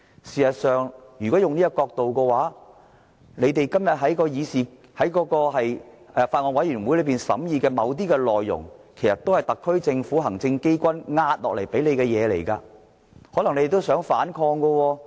事實上，如果用這個角度來看，建制派今天在法案委員會審議的某些內容其實都是特區政府、行政機關壓下來的東西，可能他們也想反抗。